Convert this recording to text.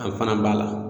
An fana b'a la